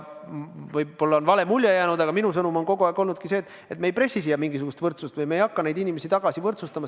Võib-olla on vale mulje jäänud, aga minu sõnum on kogu aeg olnudki see, et me ei pressi siia mingisugust võrdsust, me ei hakka neid inimesi tagasi võrdsustama.